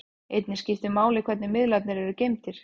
Einnig skiptir máli hvernig miðlarnir eru geymdir.